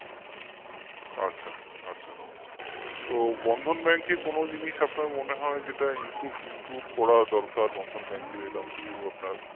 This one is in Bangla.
আচ্ছা আচ্ছা তো Bandhan Bank কে কোন জিনিস আপনার মনে হয় যেটা improve করা দরকার Bandhan Bank এর এরকম কিছু আপনার